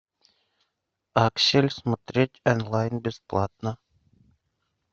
аксель смотреть онлайн бесплатно